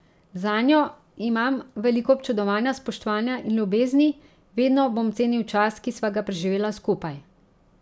Zanjo imam veliko občudovanja, spoštovanja in ljubezni, vedno bom cenil čas, ki sva ga preživela skupaj.